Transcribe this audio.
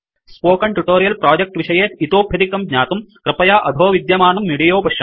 spoken tutorial project विषये इतोप्यधिकं ज्ञातुं कृपया अधो विद्यमानं विडीयो पश्यन्तु